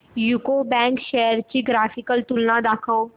UCO bank shares ची graphical तुलना दाखव